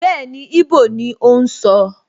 Bẹ́ẹ̀ni, íbò ni ó ń sọ